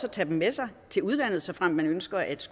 at tage dem med sig til udlandet såfremt man ønsker at